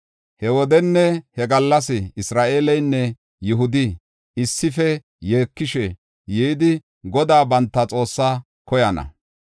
“He wodenne he gallas Isra7eeleynne Yihudi issife yeekishe yidi Godaa banta Xoossaa koyana.